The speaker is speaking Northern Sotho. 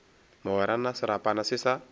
mogwera na serapana se sa